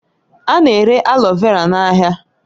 A na-ere aloe vera n'ahịa